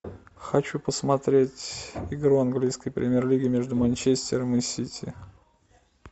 хочу посмотреть игру английской премьер лиги между манчестером и сити